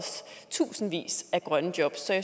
så er